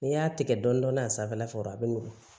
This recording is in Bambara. N'i y'a tigɛ dɔɔnin dɔɔnin a sanfɛla fɛ dɔrɔn a bɛ nugu